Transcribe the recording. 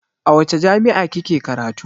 A wace jami'a kike karatu?